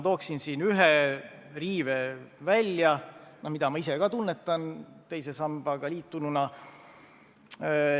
Tooksin siin välja ühe riive, mida ma ise ka tunnetan teise sambaga liitununa.